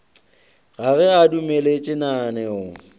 ga ge a dumeletše lananeo